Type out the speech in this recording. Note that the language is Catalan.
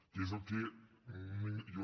que és el que jo